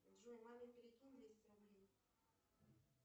джой маме перекинь двести рублей